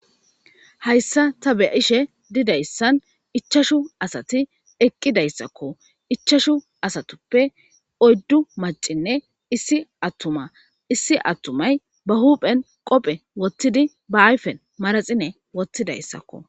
Hayssa ta be ishe didayssan ichashu asati eqqidayssakko ichashu asatuppe oyddu macinne issi attuma issi attumay ba huphen qophe wottidi ba ayfen maraxine wottidayssakko.